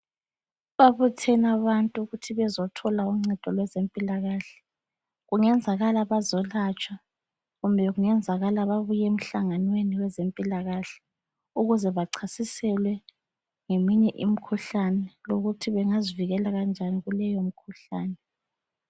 Babuthene abantu ukuthini bazothola uncedo lwezempilakahle. Kungenzakala bazolatshwa, kumbe kungenzakala babuye emhlanganweni wezempilakahle ukuze bachasiselwe ngeminye imikhuhlane lokuthi bengazivikela kanjani kuleyomkhuhlane.